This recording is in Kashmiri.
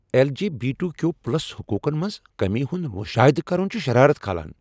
L. G. B. T. Q plus حقوقن منٛز کمی ہُند مشاہدٕ کرن چھ شرارت کھالان۔